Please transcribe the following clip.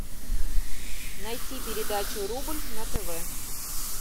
найти передачу рубль на тв